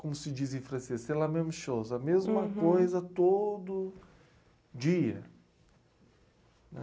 como se diz em francês, c'est la même chose, a mesma coisa todo dia.